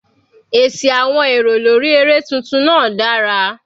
Èsì àwọn èrò lórí eré tuntun náà dára.